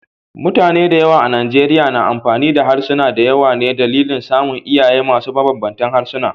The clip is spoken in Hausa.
Mutane da yawa a Nigeria na amfani da harsuna da yawa ne a dalilin samun iyaye masu mabanbanta harsuna.